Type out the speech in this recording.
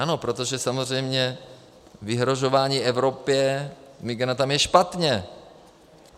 Ano, protože samozřejmě vyhrožování Evropě migranty je špatně.